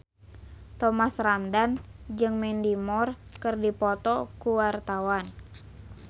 Thomas Ramdhan jeung Mandy Moore keur dipoto ku wartawan